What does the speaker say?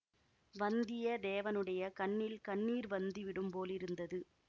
வந்தியத்தேவனுடைய கண்ணில் கண்ணீர் வந்துவிடும் போலிருந்தது